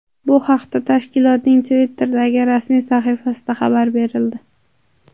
Bu haqda tashkilotning Twitter’dagi rasmiy sahifasida xabar berildi .